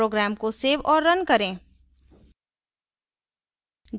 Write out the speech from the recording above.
program को save और run करें